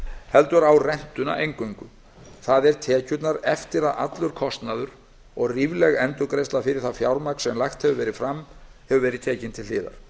heldur á rentuna eingöngu það er tekjurnar eftir að allur kostnaður og rífleg endurgreiðsla fyrir það fjármagn sem lagt hefur verið fram hefur verið tekin til hliðar